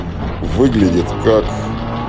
выглядит как